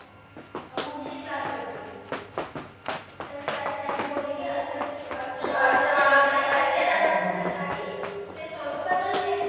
अं मूर्च्छित झाली होती तर त्या त्यांने बोलले की अस असच ते सवरून बदलले